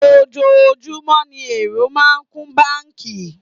Ojoojúmọ́ ní èrò máa ń kún báńkì.